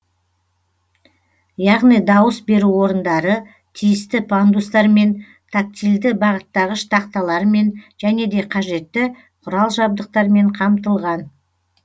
яғни дауыс беру орындары тиісті пандустармен тактильді бағыттағыш тақталармен және де қажетті құрал жабдықтармен қамтылған